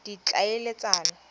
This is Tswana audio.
ditlhaeletsano